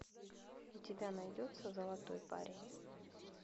у тебя найдется золотой парень